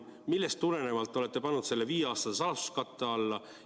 Millest tulenevalt te olete pannud selle viieaastase saladuskatte alla?